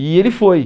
E ele foi.